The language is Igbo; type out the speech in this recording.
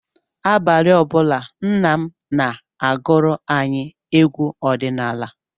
Abalị ọ bụla, nna m na-agụrụ anyị egwu ọdịnala.